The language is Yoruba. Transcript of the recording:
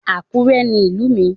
Àkúrẹ́ ni ìlú mi